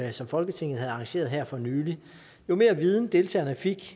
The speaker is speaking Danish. og som folketinget havde arrangeret her for nylig jo mere viden deltagerne fik